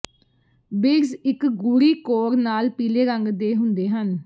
beads ਇੱਕ ਗੂੜੀ ਕੋਰ ਨਾਲ ਪੀਲੇ ਰੰਗ ਦੇ ਹੁੰਦੇ ਹਨ